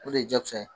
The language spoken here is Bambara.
O de ye jakusa ye